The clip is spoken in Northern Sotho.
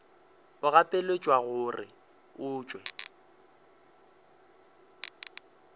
o gapeletšwa gore o tšwe